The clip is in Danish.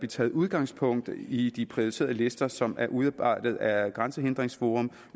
taget udgangspunkt i de prioriterede lister som er udarbejdet af grænsehindringsforum